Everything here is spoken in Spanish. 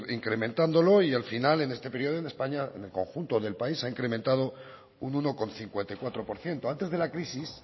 incrementándolo y al final en este periodo en españa en el conjunto del país se ha incrementado un uno coma cincuenta y cuatro por ciento antes de la crisis